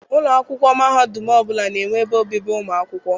Ụlọ akwụkwọ mahadum ọbụla na-enwe ebe obibi ụmụ akwụkwọ.